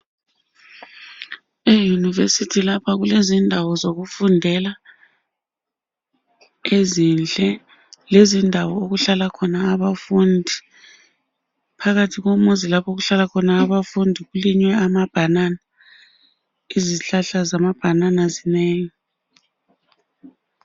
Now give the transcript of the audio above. Eyunivesithi lapha kulezindawo zokufundela ezinhle, lezindawo okuhlala khona abafundi. Phakathi komuzi okuhlala khona abafundi kulinywe amabhanana. Izihlahla zamabhanana zinengi.